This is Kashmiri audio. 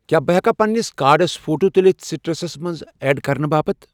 کیٛاہ بہٕ ہٮ۪کا پننِس کارڑس فوٹو تُلِتھ سِٹرسس منٛز ایڈ کرنہٕ باپتھ؟